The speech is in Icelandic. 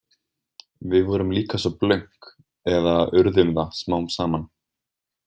Við vorum líka svo blönk eða urðum það smám saman.